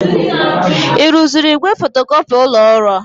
Ị rụziri igwe fotocopi ụlọ ọrụ?